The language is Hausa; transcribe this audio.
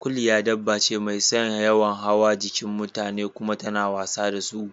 Kuliya dabba ce mai yawan son hawa jikin mutane kuma tana wasa da su